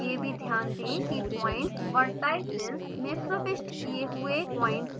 यह भी ध्यान दें कि पॉइंट्स vertices में प्रविष्ट किये हुए पॉइंट्स से मेल खाने चाहिए